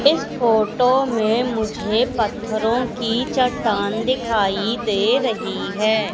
इस फोटो में मुझे पत्थरों की चट्टान दिखाई दे रही है।